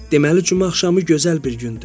Deməli cümə axşamı gözəl bir gündür.